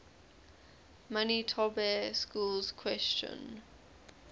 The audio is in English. manitoba schools question